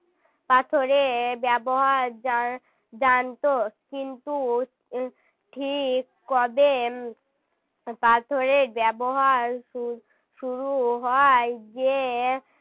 পাথরের ব্যবহার জান~ জানত কিন্তু ঠিক কবে পাথরের ব্যবহার শু~ শুরু হয় যে